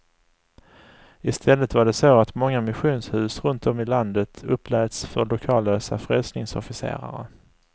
Istället var det så att många missionshus runt om i landet uppläts för lokallösa frälsningsofficerare.